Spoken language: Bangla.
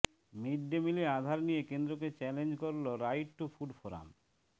মিড ডে মিলে আধার নিয়ে কেন্দ্রকে চ্যালেঞ্জ করল রাইট টু ফুড ফোরাম